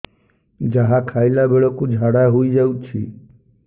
ଯାହା ଖାଇଲା ବେଳକୁ ଝାଡ଼ା ହୋଇ ଯାଉଛି